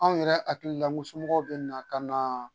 Anw yɛrɛ hakili la somɔgɔw bɛ na ka na